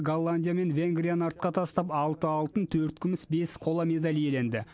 голландия мен венгрияны артқа тастап алты алтын төрт күміс бес қола медаль иеленді